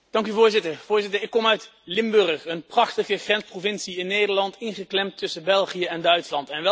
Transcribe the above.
Voorzitter, ik kom uit Limburg, een prachtige grensprovincie in Nederland, ingeklemd tussen België en Duitsland.